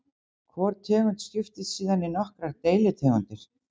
Hvor tegund skiptist síðan í nokkrar deilitegundir.